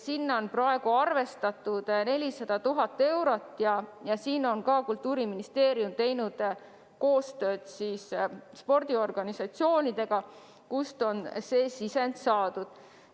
Selle jaoks on praegu arvestatud 400 000 eurot ja ka siin on Kultuuriministeerium teinud koostööd spordiorganisatsioonidega, kust on see sisend saadud.